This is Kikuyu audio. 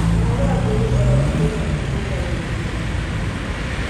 Kũnogora mwĩrĩ oro mũthenya kurungagirirĩa mahĩndĩ